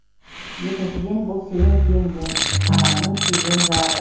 екіншіден бұл сенің жеңгең ағаңның сүйген жары